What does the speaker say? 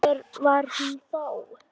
En hver var hún þá?